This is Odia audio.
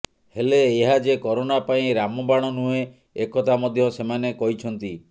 ହେଲେ ଏହା ଯେ କରୋନା ପାଇଁ ରାମବାଣ ନୁହେଁ ଏକଥା ମଧ୍ୟ ସେମାନେ କହିଛନ୍ତି